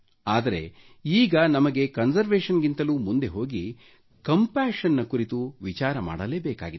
ಆದರೆ ಈಗ ನಮಗೆ ಕನ್ಸರ್ವೇಷನ್ ಕ್ಕಿಂತಲೂ ಮುಂದೆ ಹೋಗಿ ಕಂಪಾಶನ್ ನ ಕುರಿತು ವಿಚಾರ ಮಾಡಲೇ ಬೇಕಾಗಿದೆ